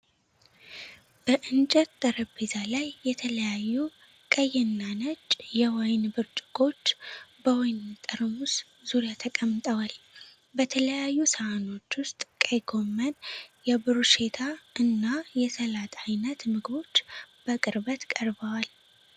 በእንጨት ጠረጴዛ ላይ የተለያዩ ቀይና ነጭ የወይን ብርጭቆዎች በወይን ጠርሙስ ዙሪያ ተቀምጠዋል። በተለያዩ ሳህኖች ውስጥ ቀይ ጎመን፣ የብሩሼታ እና የሰላጣ አይነት ምግቦች በቅርበት ቀርበዋል።